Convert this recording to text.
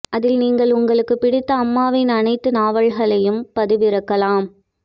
அதில் நீங்கள் உங்களுக்கு பிடித்த அம்மாவின் அனைத்து நாவல்களையும் பதிவிறக்கலாம்